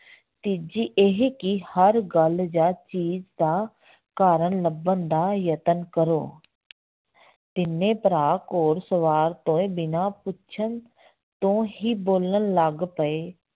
ਤੀਜੀ ਇਹ ਕਿ ਹਰ ਗੱਲ ਜਾਂ ਚੀਜ਼ ਦਾ ਕਾਰਨ ਲੱਭਣ ਦਾ ਯਤਨ ਕਰੋ ਤਿੰਨੇ ਭਰਾ ਘੋੜ ਸਵਾਰ ਤੋਂ ਇਹ ਬਿਨਾਂ ਪੁੱਛਣ ਤੋਂ ਹੀ ਬੋਲਣ ਲੱਗ ਪਏ